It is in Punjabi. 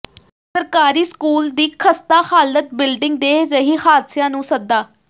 ਸਰਕਾਰੀ ਸਕੂਲ ਦੀ ਖਸਤਾ ਹਾਲਤ ਬਿਲਡਿੰਗ ਦੇ ਰਹੀ ਹਾਦਸਿਆਂ ਨੂੰ ਸੱਦਾ